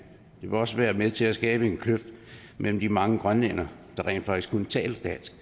det vil også være med til at skabe en kløft mellem de mange grønlændere der rent faktisk kun taler dansk